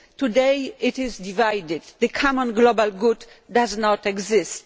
Today it is divided. The common global good does not exist.